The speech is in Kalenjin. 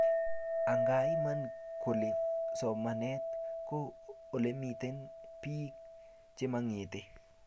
angaa Iman kole somanet ko olemiten beek chemangete